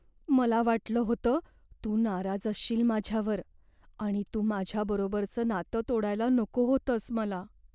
मला वाटलं होतं तू नाराज असशील माझ्यावर आणि तू माझ्या बरोबरचं नातं तोडायला नको होतंस मला.